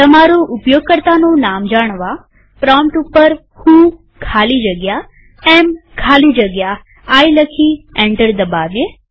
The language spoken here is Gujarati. તમારું ઉપયોગકર્તાનું નામ જાણવાપ્રોમ્પ્ટ ઉપર વ્હો ખાલી જગ્યા એએમ ખાલી જગ્યા આઇ લખી એન્ટર દબાવીએ